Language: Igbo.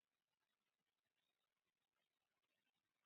Onye isi oche nwoke bịara klaasị m inye ọkwa.